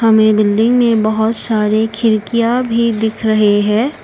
हमें बिल्डिंग में बहोत सारे खिड़कियां भी दिख रहे है।